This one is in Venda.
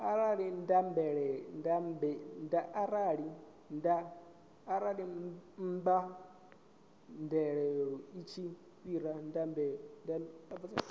arali mbadeloi tshi fhira mbadelo